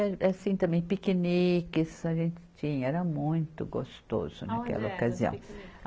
E assim também, piqueniques a gente tinha, era muito gostoso naquela ocasião.